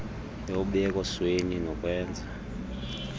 yobeko sweni nokwenza